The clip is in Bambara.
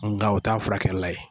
Nka u t'a furakɛla ye